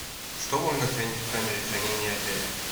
что можно хранить в камере хранения отеля